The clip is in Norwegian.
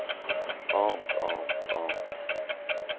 annet annet annet